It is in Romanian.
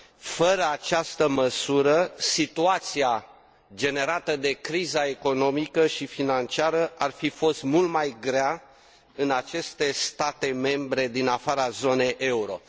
Fără această măsură, situația generată de criza economică și financiară ar fi fost mult mai grea în aceste state membre din afara zonei euro.